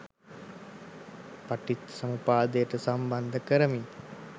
පටිච්චසමුප්පාදයට සම්බන්ධ කරමිනි.